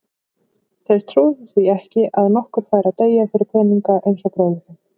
Þeir trúðu því ekki að nokkur færi að deyja fyrir peninga eins og bróðir þinn.